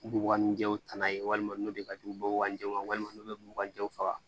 Duguba nun jɛw taa n'a ye walima n'o de ka jugu bɔgɔjɛw ma walima n'o bɛ bugan jɛw faga